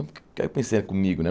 Co aí pensei comigo, né?